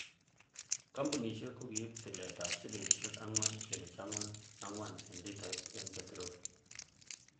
Kompunisiek kokiib tilet ab silingisiek angwan kenuch angwan angwan en litait en peterol.